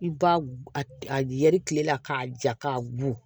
I b'a a yɛrɛ tile la k'a ja k'a bugu